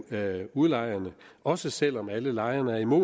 af udlejerne også selv om alle lejerne er imod